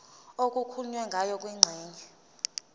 okukhulunywe ngayo kwingxenye